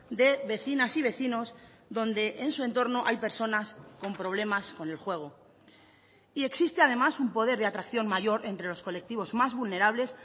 de vecinas y vecinos donde en su entorno hay personas con problemas con el juego y existe además un poder de atracción mayor entre los colectivos más vulnerables